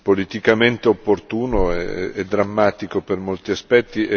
e drammatico per molti aspetti e vi ringrazio delle considerazioni.